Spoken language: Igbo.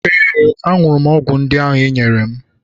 Ee, ahụrụ m ọgwụ ndị i nyere m.